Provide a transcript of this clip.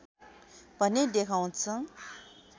भन्ने देखाउँछ